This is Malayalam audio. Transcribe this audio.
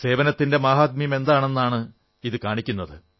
സേവനത്തിന്റെ മാഹാത്മ്യം എന്താണെന്നാണ് ഇതു കാണിക്കുന്നത്